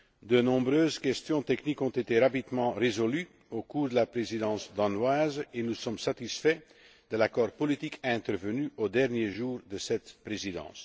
De nombreuses questions techniques ont été rapidement résolues sous la présidence danoise et nous sommes satisfaits de l'accord politique intervenu au dernier jour de cette présidence.